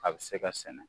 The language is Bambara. A bɛ se ka sɛnɛ